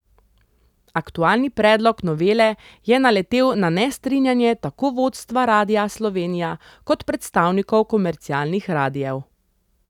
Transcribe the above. Aktualni predlog novele je naletel na nestrinjanje tako vodstva Radia Slovenija kot predstavnikov komercialnih radiev.